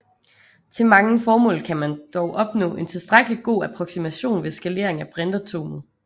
Til mange formål kan man dog opnå en tilstrækkelig god approksimation ved skalering af brintatomet